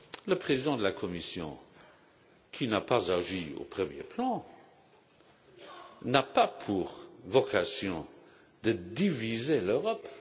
Le président de la Commission, qui n'a pas agi au premier plan, n'a pas pour vocation de diviser l'Europe.